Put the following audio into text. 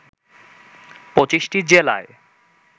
২৫টি জেলায়